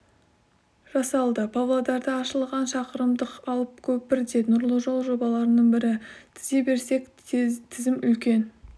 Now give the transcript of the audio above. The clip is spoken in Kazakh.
жасалды павлодарда ашылған шақырымдық алып көпір де нұрлы жол жобаларының бірі тізе берсек тізім үлкен